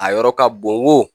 A yɔrɔ ka bon wo.